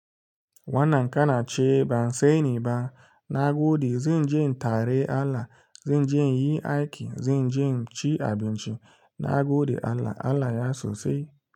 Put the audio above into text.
Wannan kana ce ba sai ni ba, na gode. Zanje in tare Allah, zanje in yi aiki, zanje in ci abinci, na gode Allah, Allah ya sosai.